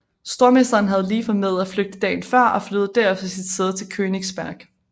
Stormesteren havde lige formået at flygte dagen før og flyttede derefter sit sæde til Königsberg